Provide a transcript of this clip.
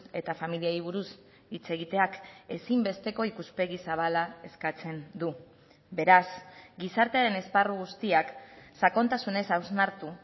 eta familiei buruz hitz egiteak ezinbesteko ikuspegi zabala eskatzen du beraz gizartearen esparru guztiak sakontasunez hausnartu